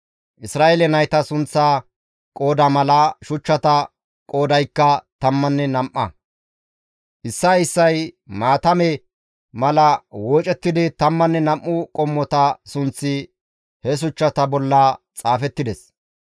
Isra7eele nayta sunththaa qooda mala, shuchchata qoodaykka tammanne nam7a; issay issay maatame mala woocettidi tammanne nam7u qommota sunththi he shuchchata bolla xaafettides.